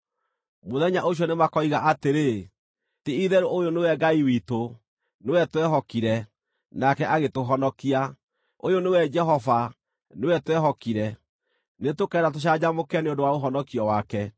Mũthenya ũcio nĩmakoiga atĩrĩ, “Ti-itherũ ũyũ nĩwe Ngai witũ; nĩwe twehokire, nake agĩtũhonokia, ũyũ nĩwe Jehova, nĩwe twehokire; nĩtũkene na tũcanjamũke nĩ ũndũ wa ũhonokio wake.”